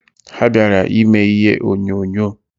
Ha bịara ime ihe onyonyo.